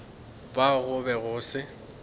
ba go be go se